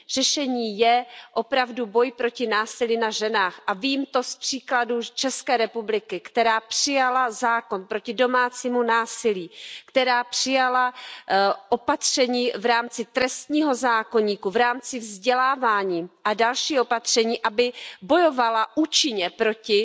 Řešení je opravdu boj proti násilí na ženách a vím to z příkladů z České republiky, která přijala zákon proti domácímu násilí, která přijala opatření v rámci trestního zákoníku, v rámci vzdělávání a další opatření, aby bojovala účinně proti